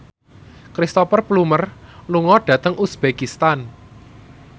Cristhoper Plumer lunga dhateng uzbekistan